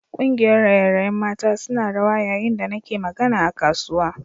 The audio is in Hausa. Kungiyar raye-rayen mata suna rawa yayin da nake magana a kasuwa